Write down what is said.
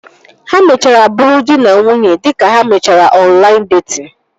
Ha mechara bụrụ dị na nwunye dịka ha mechara ọnlaịn detin